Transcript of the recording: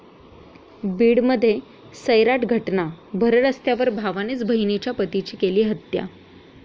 बीडमध्ये 'सैराट' घटना, भररस्त्यावर भावानेच बहिणीच्या पतीची केली हत्या